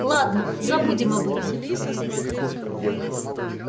ладно забудем об этом